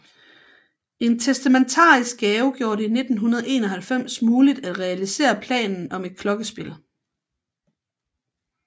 En testamentarisk gave gjorde det i 1991 muligt at realisere planen om et klokkespil